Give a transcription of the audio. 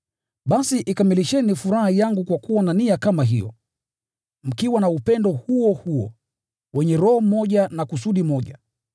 basi ikamilisheni furaha yangu kwa kuwa na nia moja, mkiwa na upendo huo moja, mkiwa wa roho na kusudi moja.